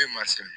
E ma se